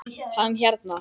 Hann hérna.